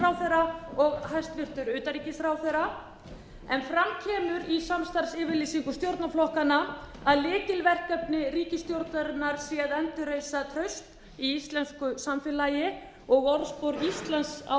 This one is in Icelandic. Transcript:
og hæstvirtur utanríkisráðherra en fram kemur í samstarfsyfirlýsingu stjórnarflokkanna að lykilverkefni ríkisstjórnarinnar sé að endurreisa traust í íslensku samfélagi og orðspor íslands á